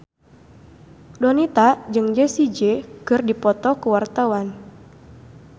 Donita jeung Jessie J keur dipoto ku wartawan